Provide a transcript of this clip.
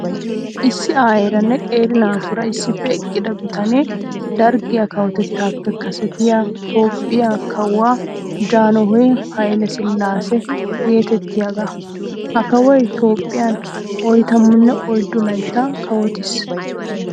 Issi aayeeranne qeeri naatuura issippe eqqida bitanee, Darggiyaa kawotettaappe kasetiya, Toophphiya kawuwa Janhoy Hayle Silaasa geeteettiyaaga. Ha kawoy Toophphiyan oytamanne oyddu layttaa kawtiis.